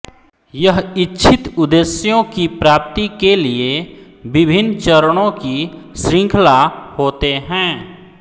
यह इच्छित उद्देश्यों की प्राप्ति के लिए विभिन्न चरणों की शृंखला होते हैं